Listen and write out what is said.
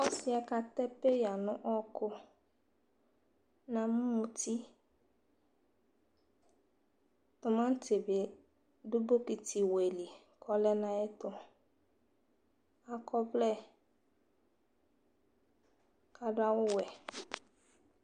Ɔsi ɛ katɛ peiya nʋ ɔwɔkʋ Namʋ mʋti Tʋmati bi dʋ bokoti wɛ li kɔlɛ nʋ ayɛtʋ Akɔ ɔvlɛ, kaɖʋ awʋ wɛ